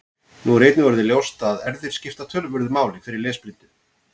Nú er einnig orðið ljóst að erfðir skipta töluverðu máli fyrir lesblindu.